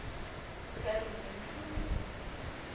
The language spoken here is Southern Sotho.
ka le ne le hanella